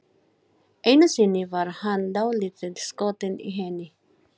Einu sinni var hann dálítið skotinn í henni.